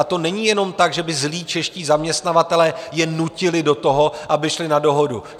A to není jenom tak, že by zlí čeští zaměstnavatelé je nutili do toho, aby šli na dohodu.